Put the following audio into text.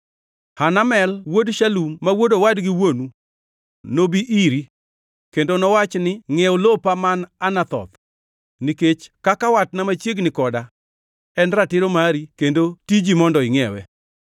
Hanamel wuod Shalum ma wuod owadgi wuonu nobi iri kendo nowach ni, ‘Ngʼiew lopa man Anathoth, nikech kaka watna machiegni koda en ratiro mari kendo tiji mondo ingʼiewe.’